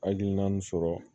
Hakilina min sɔrɔ